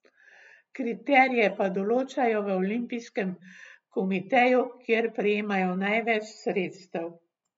Kriterije pa določajo v Olimpijskem komiteju, kjer prejmejo največ sredstev.